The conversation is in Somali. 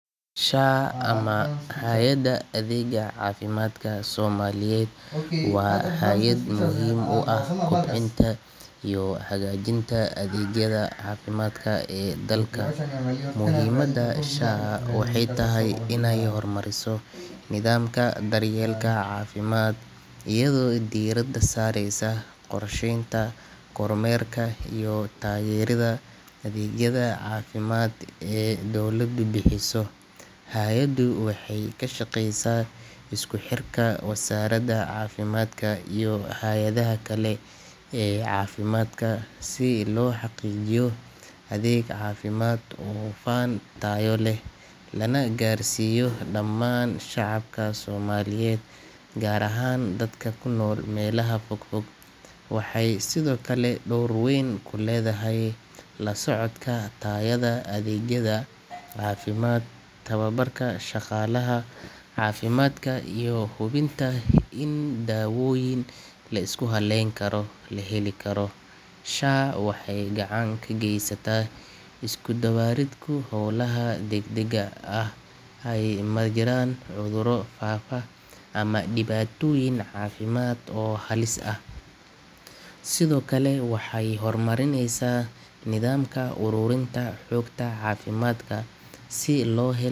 [Sha] ama Hay’adda Adeegga Caafimaadka Soomaaliyeed waa hay’ad muhiim u ah kobcinta iyo hagaajinta adeegyada caafimaadka ee dalka. Muhimada SHA waxay tahay inay hormariso nidaamka daryeelka caafimaad iyadoo diiradda saaraysa qorsheynta, kormeerka, iyo taageeridda adeegyada caafimaad ee dowladdu bixiso. Hay’addu waxay ka shaqeysaa isku xirka wasaaradda caafimaadka iyo hay’adaha kale ee caafimaadka si loo xaqiijiyo adeeg caafimaad oo hufan, tayo leh, lana gaarsiiyo dhammaan shacabka Soomaaliyeed, gaar ahaan dadka ku nool meelaha fog fog. Waxay sidoo kale door weyn ku leedahay la socodka tayada adeegyada caafimaad, tababarka shaqaalaha caafimaadka, iyo hubinta in dawooyin la isku halleyn karo la heli karo. SHA waxay gacan ka geysataa isku dubbaridka howlaha degdegga ah marka ay jiraan cudurro faafa ama dhibaatooyin caafimaad oo halis ah. Sidoo kale waxay horumarinaysaa nidaamka ururinta xogta caafimaadka si loo.